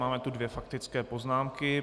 Máme tu dvě faktické poznámky.